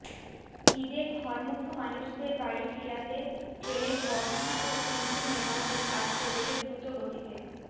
ঈদে ঘরমুখো মানুষদের বাড়ি ফিরাতে ট্রেনের বগি ও ইঞ্জিন মেরামতের কাজ চলছে দ্রুত গতিতে